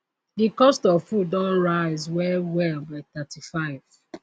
di cost of food don rise well well by 35